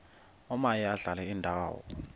omaye adlale indawo